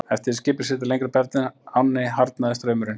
Eftir því sem skipið sigldi lengra upp eftir ánni harðnaði straumurinn.